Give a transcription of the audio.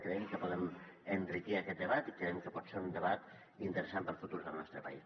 creiem que podem enriquir aquest debat i creiem que pot ser un debat interessant per al futur del nostre país